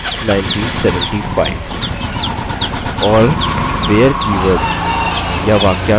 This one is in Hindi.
और where कीवर्ड या वाक्यांश के बाद हम दो conditions देखते हैं